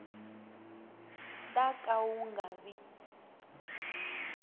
ta ka wu nga vi